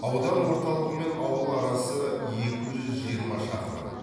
аудан орталығы мен ауыл арасы екі жүз жиырма шақырым